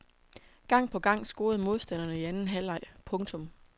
Gang på gang scorede modstanderne i anden halvleg. punktum